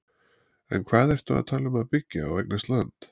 En hvað ertu að tala um að byggja og eignast land?